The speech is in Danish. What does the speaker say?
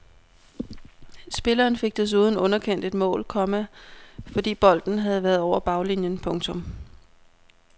Spilleren fik desuden underkendt et mål, komma fordi bolden havde været over baglinjen. punktum